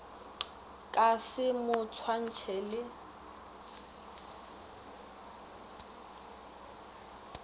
ka se mo swantšhe le